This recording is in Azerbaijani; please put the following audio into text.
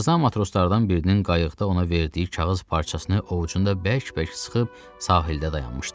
Tarzan matroslardan birinin qayıqda ona verdiyi kağız parçasını ovucunda bərk-bərk sıxıb sahildə dayanmışdı.